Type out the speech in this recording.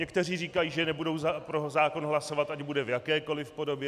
Někteří říkají, že nebudou pro zákon hlasovat, ať bude v jakékoli podobě.